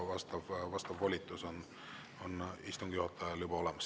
Vastav volitus on istungi juhatajal juba olemas.